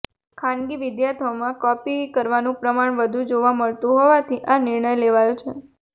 ખાનગી વિદ્યાર્થીઓમાં કોપી કરવાનું પ્રમાણ વધું જોવા મળતું હોવાથી આ નિર્ણય લેવાયો છે